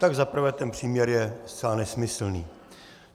Tak za prvé, ten příměr je zcela nesmyslný.